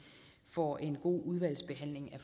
får en god udvalgsbehandling